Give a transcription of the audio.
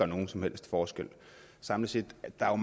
nogen som helst forskel samlet set det er